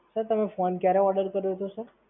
Sir, તમે phone ક્યારે order કર્યો હતો Sir?